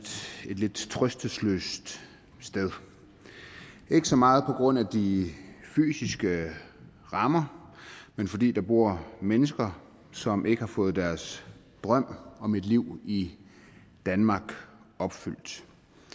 lidt trøstesløst sted ikke så meget på grund af de fysiske rammer men fordi der bor mennesker som ikke fået deres drøm om et liv i danmark opfyldt